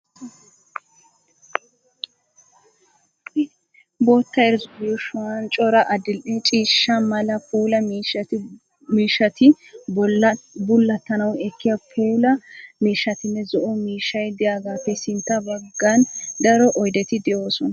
Bootta irzuwa yuushuwan cora adil'e ciishsha mala puulaa miishshati, bullattanwu ekkiya puulaa miishshatinne zo'o miishshay diyagaappe sintta baggan daro oydeti de'oosona.